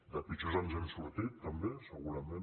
de pitjors ens n’hem sortit també segurament